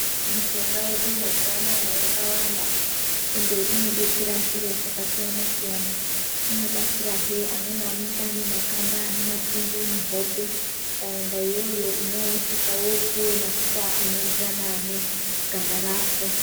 Mishonga yedu mazuva anaya yakawanda ende ino detsera zviro zvaka siyana siyana ino batsira hee amweni anenge ane makanda ane mapundu muhope ukaenda iyoyo unosvika wopuwe mafuta ano enderana ne ganda rako.